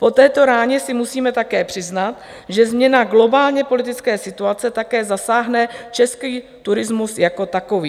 Po této ráně si musíme také přiznat, že změna globální politické situace také zasáhne český turismus jako takový.